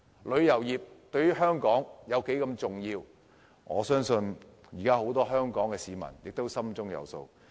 旅遊業對香港有多重要，我相信很多香港市民亦心中有數。